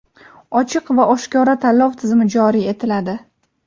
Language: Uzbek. ochiq va oshkora tanlov tizimi joriy etiladi.